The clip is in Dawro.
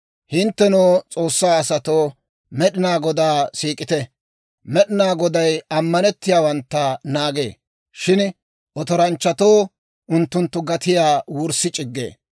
Hinttenoo, S'oossaa asatoo, Med'inaa Godaa siik'ite. Med'inaa Goday ammanettiyaawantta naagee; shin otoranchchatoo unttunttu gatiyaa wurssi c'iggee.